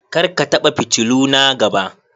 Kar ka taba fitiluna gaba